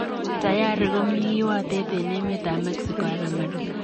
Tayari komii kiwotet en emet ab Mexico ak Amerika.